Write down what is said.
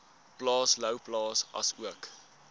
plaas louwplaas asook